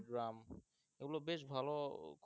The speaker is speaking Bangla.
drum এগুলো বেশ ভালো